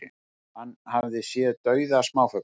Hann hafi séð dauða smáfugla